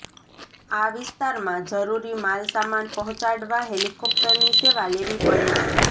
આ વિસ્તારમાં જરૂરી માલસામાન પહોંચાડવા હેલિકોપ્ટરની સેવા લેવી પડે છે